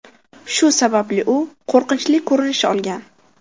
Shu sababli u qo‘rqinchli ko‘rinish olgan.